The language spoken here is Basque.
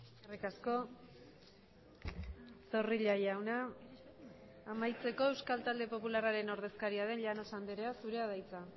eskerrik asko zorrilla jauna amaitzeko euskal talde popularraren ordezkaria den llanos andrea zurea da hitza